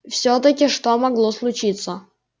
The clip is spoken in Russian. всё-таки что могло случиться